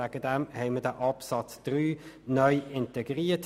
Deshalb haben wir neu diesen Absatz 3 integriert.